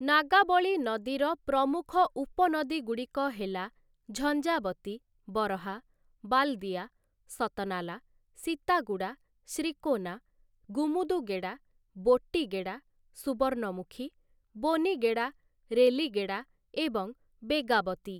ନାଗାବଳୀ ନଦୀର ପ୍ରମୁଖ ଉପନଦୀଗୁଡ଼ିକ ହେଲା ଝଞ୍ଜାବତୀ, ବରହା, ବାଲ୍‌ଦିଆ, ସତନାଲା, ସୀତାଗୁଡ଼ା, ଶ୍ରୀକୋନା, ଗୁମୁଦୁଗେଡ଼ା, ବୋଟ୍ଟିଗେଡ଼ା, ସୁବର୍ଣ୍ଣମୁଖୀ, ବୋନିଗେଡ଼ା, ରେଲିଗେଡ଼ା ଏବଂ ବେଗାବତୀ ।